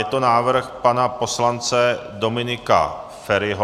Je to návrh pana poslance Dominika Feriho.